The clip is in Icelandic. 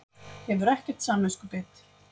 Hefur ekkert samviskubit.